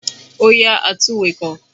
Ó yá àtunwekò